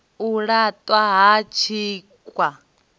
u la ṱwa ha tshikha